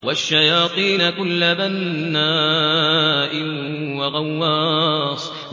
وَالشَّيَاطِينَ كُلَّ بَنَّاءٍ وَغَوَّاصٍ